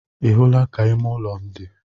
Ị hụla ka ime ụlọ m dị?